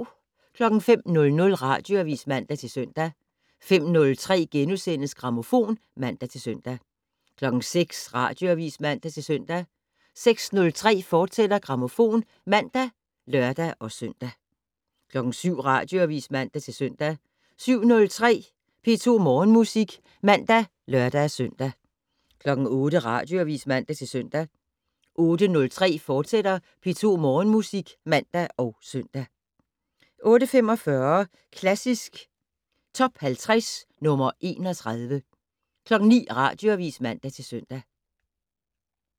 05:00: Radioavis (man-søn) 05:03: Grammofon *(man-søn) 06:00: Radioavis (man-søn) 06:03: Grammofon, fortsat (man og lør-søn) 07:00: Radioavis (man-søn) 07:03: P2 Morgenmusik (man og lør-søn) 08:00: Radioavis (man-søn) 08:03: P2 Morgenmusik, fortsat (man og søn) 08:45: Klassisk Top 50 - nr. 31 09:00: Radioavis (man-søn)